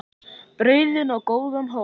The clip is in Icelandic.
Breiðan og góðan hóp.